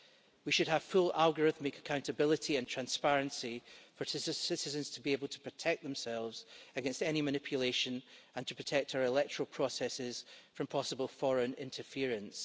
We should have full algorithmic accountability and transparency for citizens to be able to protect themselves against any manipulation and to protect our electoral processes from possible foreign interference.